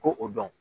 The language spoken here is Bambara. Ko o dɔn